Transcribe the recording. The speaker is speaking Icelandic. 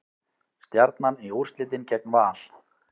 Stjarnan í úrslitin gegn Val